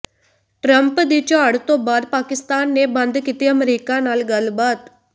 Trump ਦੀ ਝਾੜ ਤੋਂ ਬਾਅਦ ਪਾਕਿਸਤਾਨ ਨੇ ਬੰਦ ਕੀਤੀ ਅਮਰੀਕਾ ਨਾਲ ਗੱਲਬਾਤ